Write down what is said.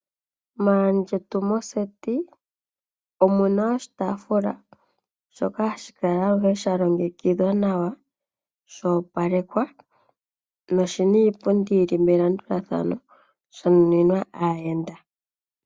Maandjetu moseti, omuna oshi taafula, shoka sha longekidhwa nawa, nsho opalekwa no shina iipundi, sha nuninwa aayenda.